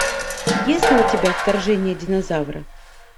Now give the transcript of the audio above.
есть ли у тебя вторжение динозавра